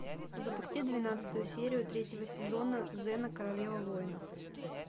запусти двенадцатую серию третьего сезона зена королева воинов